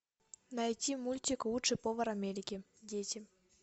найти мультик лучший повар америки дети